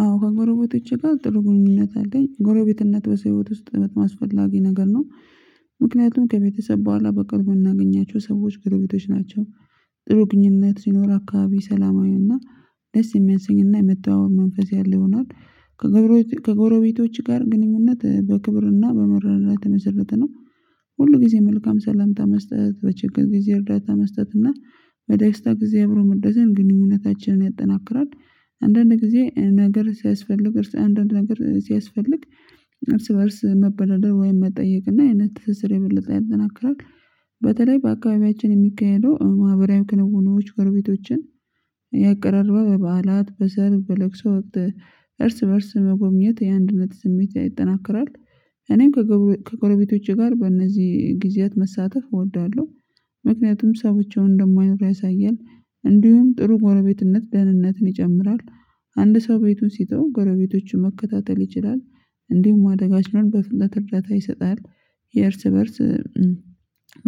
አዎ ከጎረቤቶቼ ጋር ጥሩ ግንኙነት አለኝ ጎረቤትነት በሰው ህይወት ውስጥ በጣም አስፈላጊ ነገር ነው ምክንያቱም ከቤተሰብ በኋላ በቅርቡ ምናገኛቸው ሰዎችጎረቤቶች ናቸው። ጥሩ ግንኙነት ሲኖር አካባቢ ሰላማዊውና ደስ የሚያንስኝና የመጣው መንፈስ ያለው ይሆናል። ከጎረቤቶች ጋር ግንኙነት በክብርና በመረዳዳት የመሰረተ ነው ሁል ጊዜ መልካም ሰላምታ መስጠት፣ በችግር ጊዜ እርዳታ መስጠት እና በዳይስታ ጊዜ አብሮ መደሰት፣ ግንኙነታችንን ያጠናክራል። አንዳንድ ጊዜ ነገር ሲያስፈልግ እርስ አንዳንድ ነገር ሲያስፈልግ እርስ በእርስ መበዳደር ወይም መጠየቅ እና አይነት ትስስር የበለጠ ያጠናክራል። በተለይ በአካባቢያችን የሚካሄደው ማህበራዊ ክንውኖች ጎረቤቶችን ያቀራርባል። በበዓላት፣ በሰርግ፣ በለቅሶ ወቅት እርስ በእርስ መጎብኘት የአንድነት ስሜት ያጠናክራል እኔም ከጎረቤቶቼ ጋር በእነዚህ ጊዜያት መሳተፍ እወዳለሁ ምክንያቱም ሰዎችን እንደማይኖሩ ያሳያል እንዲሁም ጥሩ ጎረቤትነት ደህንነትን ይጨምራል አንድ ሰው ቤቱን ሲተው ጎረቤቶቹን መከታተል ይችላል እንዲሁም አደጋችንን በፍጥነት እርዳታ ይሰጣል የእርስ በእርስ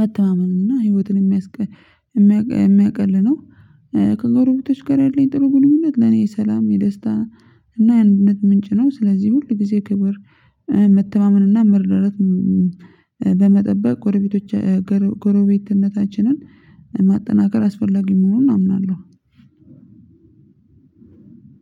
መተማመኑን እና ህይወትን የሚያቀልነው ከጎረቤቶች ጋር ያለኝ ጥሩ ግንኙነት ለኔ ሰላም የደስታ እና የአንድነት ምንጭ ነው ስለዚህ ሁል ጊዜ ክብር መተማመን እና መርዳራት በመጠበቅ ጎረቤቶች ጎረቤትነታችንን ማጠናከር አስፈላጊ መሆኑን አምናለሁ